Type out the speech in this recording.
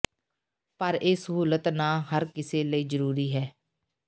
ਪਰ ਇਹ ਸਹੂਲਤ ਨਾ ਹਰ ਕਿਸੇ ਲਈ ਜ਼ਰੂਰੀ ਹੈ